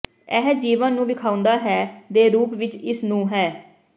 ਇਹ ਜੀਵਨ ਨੂੰ ਵੇਖਾਉਦਾ ਹੈ ਦੇ ਰੂਪ ਵਿੱਚ ਇਸ ਨੂੰ ਹੈ